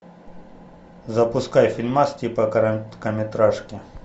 запускай фильмас типа короткометражки